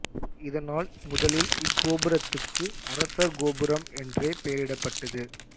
இதனால் முதலில் இக் கோபுரத்துக்கு அரசர் கோபுரம் என்றே பெயரிடப்பட்டது